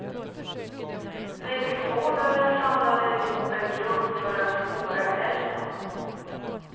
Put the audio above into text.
Viltvårdare samlade ihop en grupp för att spåra älgen.